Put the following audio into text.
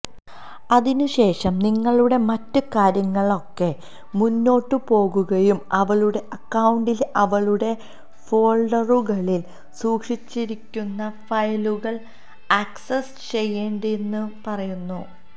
അതിനുശേഷം നിങ്ങളുടെ മറ്റ് കാര്യങ്ങളൊക്കെ മുന്നോട്ടു പോകുകയും അവളുടെ അക്കൌണ്ടിലെ അവളുടെ ഫോൾഡറുകളിൽ സൂക്ഷിച്ചിരിക്കുന്ന ഫയലുകൾ ആക്സസ് ചെയ്യേണ്ടതുണ്ടെന്നും പറയുന്നു